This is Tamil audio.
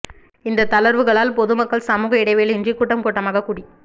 இந்த தளர்வுகளால் பொதுமக்கள் சமூக இடைவெளி இன்றி கூட்டம் கூட்டமாக கூடி